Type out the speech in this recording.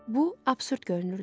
Bu absurd görünürdü.